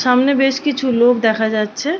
সামনে বেশ কিছু লোক দেখা যাচ্ছে-এ।